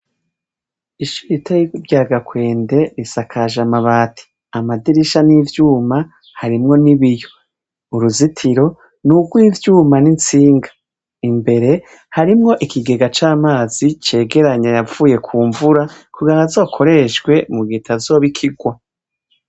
Ishure ritoyi rya Gakwende risakaje amabati. Amadirisha n'ivyuma harimwo n'ibiyo. uruzitiro nurw'ivyuma n'intsinga, imbere harimwo Ikigega c'amazi, cegeranya ayavuye kumvura kugirango azokoreshwe mugihe itazoba ikirwa.